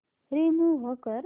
remove कर